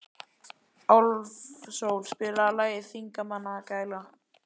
Álfsól, spilaðu lagið „Þingmannagæla“.